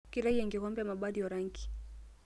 Keitayu enkikombe emabati orangi.